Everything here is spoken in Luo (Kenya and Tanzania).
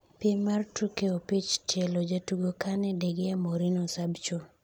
piem mar tuke opich tielo:jatugo Kane, Degea, Morino, Sabcho